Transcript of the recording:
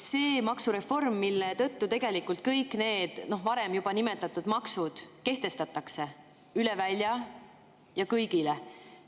Selle maksureformi tõttu kehtestatakse kõik need varem juba nimetatud maksud üle välja ja kõigile.